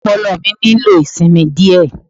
Ọpọlọ mi nílò ìsinmi díẹ̀.